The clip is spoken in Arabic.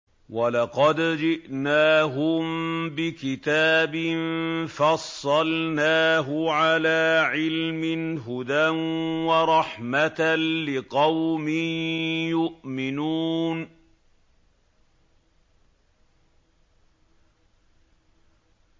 وَلَقَدْ جِئْنَاهُم بِكِتَابٍ فَصَّلْنَاهُ عَلَىٰ عِلْمٍ هُدًى وَرَحْمَةً لِّقَوْمٍ يُؤْمِنُونَ